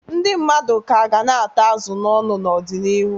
Ndị mmadụ ka ga na-ata azụ n'ọnụ n'ọdịnihu.